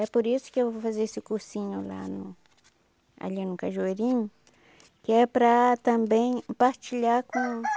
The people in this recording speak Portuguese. É por isso que eu vou fazer esse cursinho lá no... ali no Cajueirinho, que é para também partilhar com